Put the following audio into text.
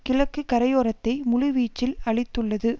கிழக்கு கரையோரத்தை முழுவீச்சில் அழித்துள்ளது